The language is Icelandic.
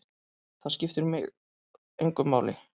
Það skiptir engu máli!